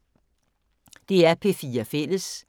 DR P4 Fælles